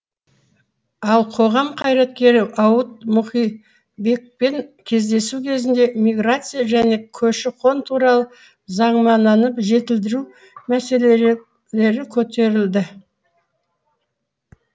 ал қоғам қайраткері ауыт мұқибекпен кездесу кезінде миграция және көші қон туралы заңнаманы жетілдіру мәселелері көтерілді